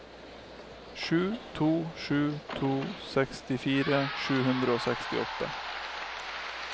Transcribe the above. sju to sju to sekstifire sju hundre og sekstiåtte